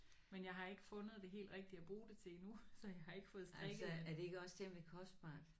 Men jeg har ikke fundet det helt rigtige at bruge det til endnu så jeg har ikke fået strikket